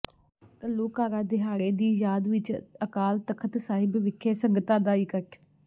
ਘੱਲੂਘਾਰਾ ਦਿਹਾੜੇ ਦੀ ਯਾਦ ਵਿਚ ਅਕਾਲ ਤਖ਼ਤ ਸਾਹਿਬ ਵਿਖੇ ਸੰਗਤਾਂ ਦਾ ਇਕੱਠ